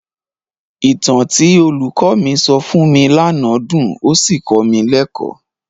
Ìtàn tí olùkọ́ mi sọ fún mi lánàá dùn ó sì kọ́ mi lẹ́kọ̀ọ́.